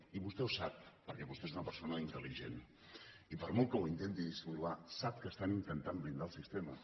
i vostè ho sap perquè vostè és una persona intelligent i per molt que ho intenti dissimular sap que estan intentant blindar el sistema